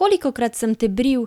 Kolikokrat sem te bril,